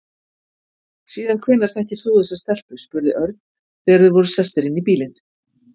Síðan hvenær þekkir þú þessa stelpu? spurði Örn þegar þeir voru sestir inn í bílinn.